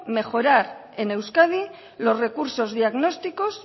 mejorar en euskadi los recursos diagnósticos